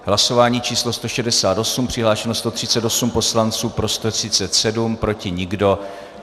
Hlasování číslo 168, přihlášeno 138 poslanců, pro 137, proti nikdo.